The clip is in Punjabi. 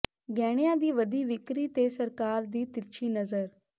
ਗਹਿਣਿਆਂ ਦੀ ਵਧੀ ਵਿਕਰੀ ਤੇ ਸਰਕਾਰ ਦੀ ਤਿਰਛੀ ਨਜ਼ਰ